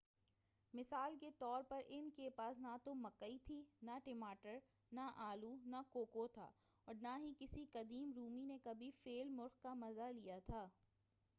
مثال کے طور ان کے پاس نہ تو مکئی تھی نہ ٹماٹر نہ آلو نہ کوکو تھا اور نہ ہی کسی قدیم رومی نے کبھی فیل مُرغ کا مزہ لیا تھا